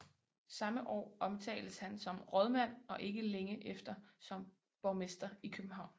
Samme år omtales han som rådmand og ikke længe efter som borgmester i København